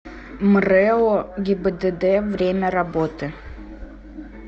мрэо гибдд время работы